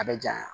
A bɛ janya